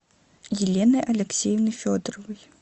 еленой алексеевной федоровой